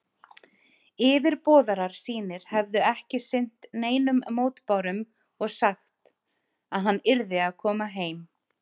Yfirboðarar sínir hefðu ekki sinnt neinum mótbárum og sagt, að hann yrði að koma heim.